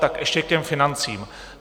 Tak ještě k těm financím.